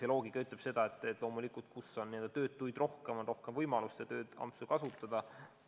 Loogika ütleb seda, et loomulikult, kus on töötuid rohkem, on ka rohkem võimalusi tööampse kasutada.